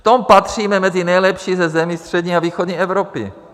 V tom patříme mezi nejlepší ze zemí střední a východní Evropy.